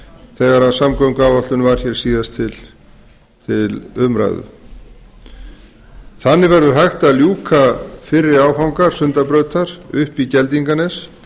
þegar samgönguáætlun var hér síðast til umræðu þannig verður hægt að ljúka fyrri áfanga sundabrautar upp í geldinganes